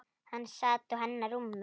Hann sat á hennar rúmi!